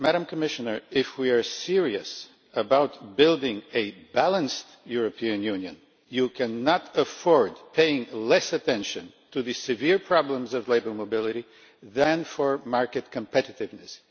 Commissioner, if we are serious about building a balanced European Union, you cannot afford to pay less attention to the severe problems of labour mobility than to market competitiveness.